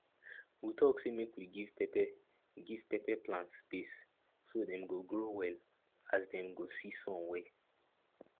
we talk say make we give pepper give pepper plant space so dem go grow well as dem go see sun well